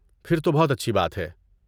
پھر تو بہت اچھی بات ہے!